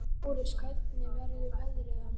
Lárus, hvernig verður veðrið á morgun?